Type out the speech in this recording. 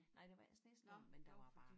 Nej der var ikke snestorm men der var bare